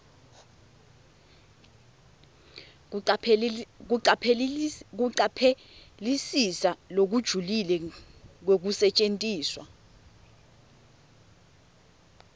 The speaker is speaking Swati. kucaphelisisa lokujulile kwekusetjentiswa